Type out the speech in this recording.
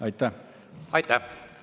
Aitäh!